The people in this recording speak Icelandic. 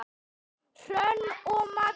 Hrönn og Magnús.